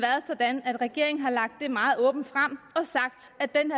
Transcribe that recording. sådan at regeringen har lagt det meget åbent frem